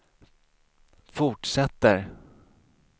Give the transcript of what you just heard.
fortsätter